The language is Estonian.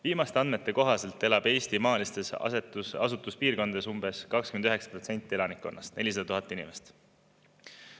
Viimaste andmete kohaselt elab Eesti maalistes asustuspiirkondades umbes 29% elanikkonnast, 400 000 inimest.